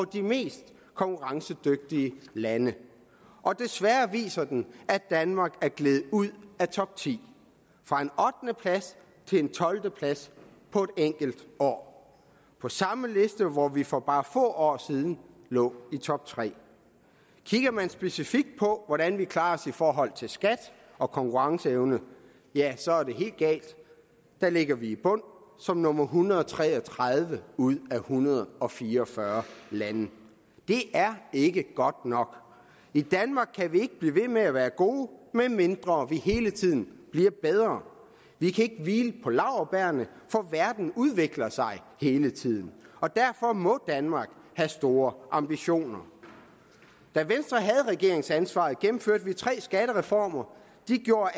de mest konkurrencedygtige lande og desværre viser den at danmark er gledet ud af topti fra en ottende plads til en tolvte plads på et enkelt år på samme liste hvor vi for bare få år siden lå i toptre kigger man specifikt på hvordan vi klarer os i forhold til skat og konkurrenceevne ja så er det helt galt der ligger vi i bunden som nummer en hundrede og tre og tredive ud af en hundrede og fire og fyrre lande det er ikke godt nok i danmark kan vi ikke blive ved med at være gode medmindre vi hele tiden bliver bedre vi kan ikke hvile på laurbærrene for verden udvikler sig hele tiden og derfor må danmark have store ambitioner da venstre havde regeringsansvaret gennemførte vi tre skattereformer de gjorde